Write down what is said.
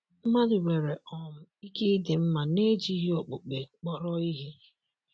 Mmadụ nwere um ike ịdị mma n'ejighị okpukpe kpọrọ ihe?